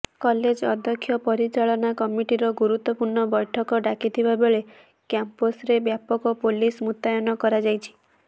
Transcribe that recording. college ଅଧ୍ୟକ୍ଷ ପରିଚାଳନା କମିଟିର ଗୁରୁତ୍ୱପୂର୍ଣ୍ଣ ବୈଠକ ଡାକିଥିବାବେଳେ କ୍ୟାମ୍ପସ୍ରେ ବ୍ୟାପକ ପୋଲିସ ମୁତୟନ କରାଯାଇଛି